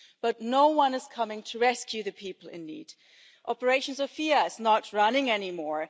But no one is coming to rescue the people in need. Operation Sophia is not running any more.